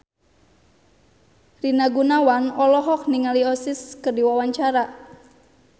Rina Gunawan olohok ningali Oasis keur diwawancara